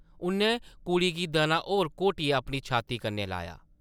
उʼन्नै कुड़ी गी दनां होर घोटियै अपनी छाती कन्नै लाया ।